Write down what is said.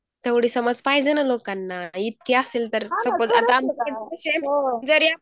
तेवढी समझ पाहिजेना लोकांना इतके असेल तर हो